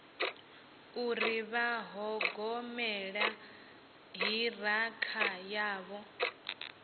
uri vha ṱhogomela ṱhirakha yavho